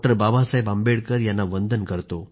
बाबासाहेब आंबेडकर यांना वंदन करतो